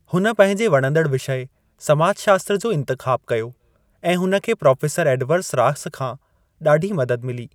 हुन पंहिंजे वणंदड़ विषय, समाजशास्त्र जो इंतिख़ाब कयो ऐं हुन खे प्रोफेसर एडवर्ड रॉस खां ॾाढी मदद मिली।